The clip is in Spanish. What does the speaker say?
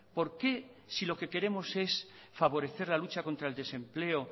por qué si lo que queremos es favorecer la lucha contra el desempleo